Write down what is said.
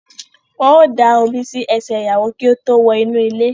Wọ́n á da omi si ẹsẹ̀ ìyàwó kí ó tó wọ inú ilé